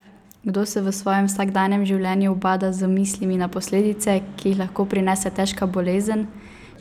Kdo se v svojem vsakdanjem življenju ubada z mislimi na posledice, ki jih lahko prinese težka bolezen?